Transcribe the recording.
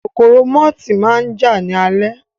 Kòkòrò mọ́tì máa jà ní alẹ́